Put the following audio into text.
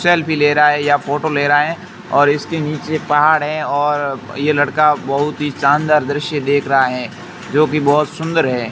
Selfie ले रहा है या फोटो ले रहा है और इसके नीचे पहाड़ है और ये लड़का बहुत ही शानदार दृश्य देख रहा है जोकि बहोत सुंदर है।